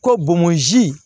Ko bomosi